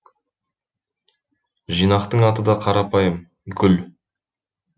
жинақтың аты да қарапайым гүл